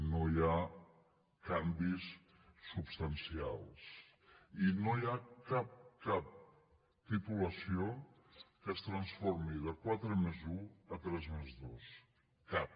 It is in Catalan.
no hi ha canvis substancials i no hi ha cap cap titulació que es transformi de quatre+un a tres+dos cap